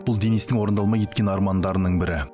бұл денистің орындалмай кеткен армандарының бірі